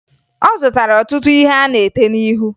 Ọ zụtara ọtụtụ ihe a na-ete n'ihu